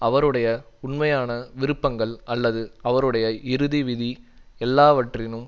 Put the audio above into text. அவருடைய உண்மையான விருப்பங்கள் அல்லது அவருடைய இறுதி விதி எல்லாவற்றினும்